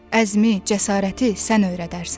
Əzmi, cəsarəti sən öyrədərsən.